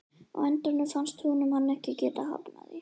Á endanum fannst honum hann ekki geta hafnað því.